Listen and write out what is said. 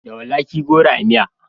Da walakin goro a miya.